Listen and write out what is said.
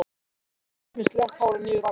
Sif með slétt hárið niður á axlir.